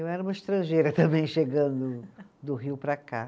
Eu era uma estrangeira também, chegando do Rio para cá.